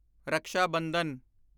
Raksha Bandhan